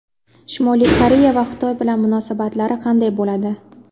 Shimoliy Koreya va Xitoy bilan munosabatlari qanday bo‘ladi.